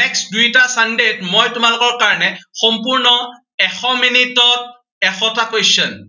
next দুয়োটা sunday ত মই তোমালোকৰ কাৰণে সম্পূৰ্ণ এশ মিনিটত এশটা question